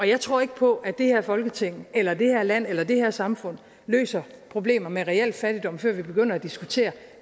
jeg tror ikke på at det her folketing eller det her land eller det her samfund løser problemer med reel fattigdom før vi begynder at diskutere